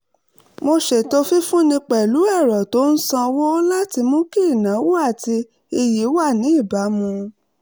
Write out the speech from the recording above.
mo ṣètò fífúnni pẹ̀lú ẹ̀rọ tó ń sanwó láti mú kí ìnáwó àti iyì wà ní ìbámu